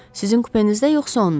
Sizin kupenizdə yoxsa onun?